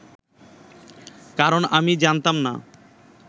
কারণ আমি জানতাম না